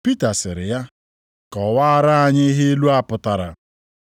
Pita sịrị ya, “Kọwaara anyị ihe ilu a pụtara.”